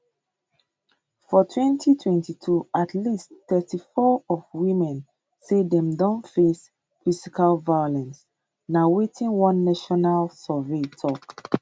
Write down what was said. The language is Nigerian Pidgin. for 2022 at least 34 of women say dem don face physical violence na wetin one national survey tok